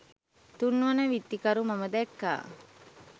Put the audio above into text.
තුන්වන විත්තිකරු මම දැක්කා